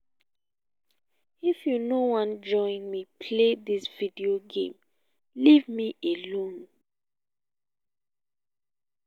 if you no wan join me play dis video game leave me alone